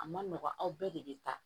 A ma nɔgɔn aw bɛɛ de bɛ taa